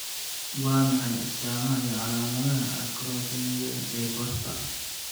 Waa maxay astamaha iyo calaamadaha Acrokeratoelastoidosis ee Costa?